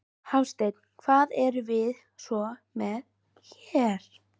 Hafsteinn: Hvað erum við svo með hér?